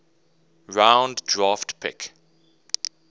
round draft pick